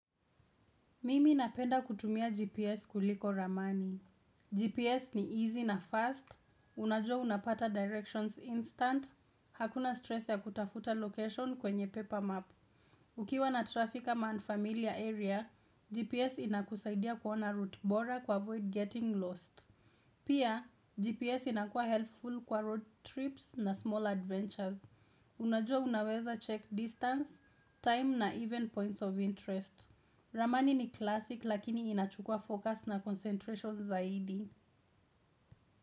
Mimi napenda kutumia GPS kuliko ramani. GPS ni easy na fast, unajua unapata directions instant, hakuna stress ya kutafuta location kwenye paper map. Ukiwa na trafficker man familiar area, GPS inakusaidia kuona route bora kuavoid getting lost. Pia, GPS inakuwa helpful kwa road trips na small adventures. Unajua unaweza check distance, time na even points of interest. Ramani ni classic lakini inachukua focus na concentration zaidi.